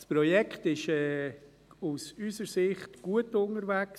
Das Projekt ist unserer Ansicht nach gut unterwegs.